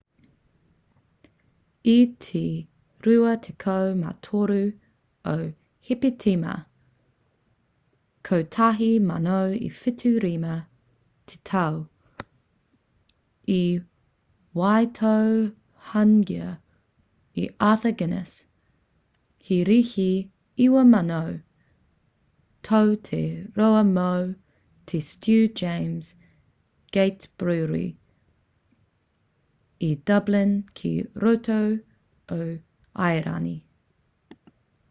i te 24 o hepetema 1759 te tau i waitohungia e arthur guiness he rīhi 9,000 tau te roa mō te stew james' gate brewery i dublin ki roto o airani